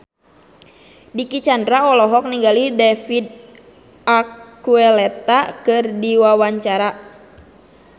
Dicky Chandra olohok ningali David Archuletta keur diwawancara